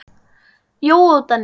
Jói og Denni.